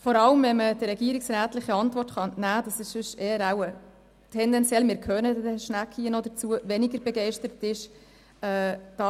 Sonst ist er wahrscheinlich tendenziell eher weniger begeistert, schliesslich auch wirklich tätig zu werden, wie man der regierungsrätlichen Antwort entnehmen kann.